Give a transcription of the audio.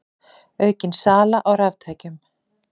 Aukin sala á raftækjum